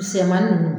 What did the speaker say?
Misɛnmanin nunnu